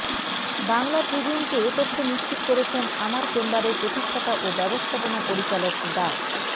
বাংলা ট্রিবিউনকে এ তথ্য নিশ্চিত করেছেন আমার চেম্বারের প্রতিষ্ঠাতা ও ব্যবস্থাপনা পরিচালক ডা